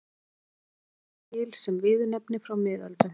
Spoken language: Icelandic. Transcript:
Í Noregi er orðið til sem viðurnefni frá miðöldum.